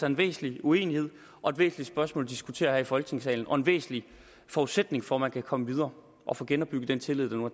en væsentlig uenighed og et væsentligt spørgsmål at diskutere her i folketingssalen det er en væsentlig forudsætning for at man kan komme videre og få genopbygget den tillid der nu